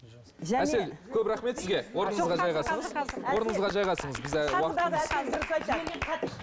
әсел көп рахмет сізге